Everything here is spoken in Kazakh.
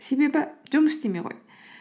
себебі жұмыс істемей қойды